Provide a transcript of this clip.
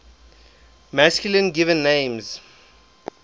masculine given names